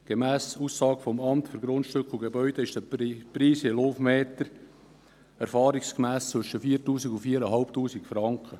Gemäss Aussage des Amts für Grundstücke und Gebäude (AGG) beträgt der Preis je Laufmeter erfahrungsgemäss zwischen 4000 und 4500 Franken.